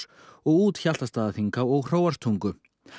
og út Hjaltastaðaþinghá og Hróarstungu